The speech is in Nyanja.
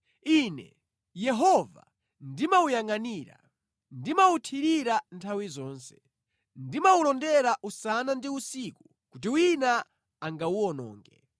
Ine, Yehova, ndimawuyangʼanira; ndimawuthirira nthawi zonse. Ndimawulondera usana ndi usiku kuti wina angawononge.